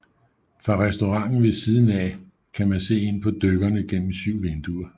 Fra restauranten ved siden af kan man se ind på dykkerne igennem 7 vinduer